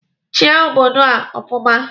Chia obodo a ọfụma!